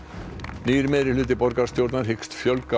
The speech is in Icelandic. nýr meirihluti borgarstjórnar hyggst fjölga